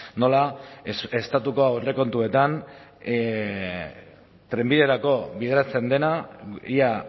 nola estatuko aurrekontuetan trenbiderako bideratzen dena ia